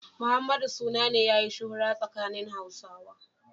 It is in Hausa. Muhammadu suna ne yayi shuhura tsakanin Hausawa.